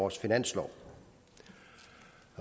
års finanslov